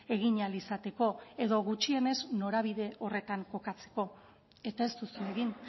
egin ahal izateko edo gutxienez norabide horretan kokatzeko eta ez duzue egin